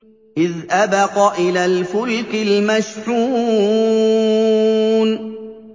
إِذْ أَبَقَ إِلَى الْفُلْكِ الْمَشْحُونِ